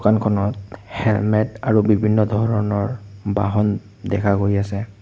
দোকানখনত হেলমেত আৰু বিভিন্ন ধৰণৰ বাহন দেখা গৈ আছে।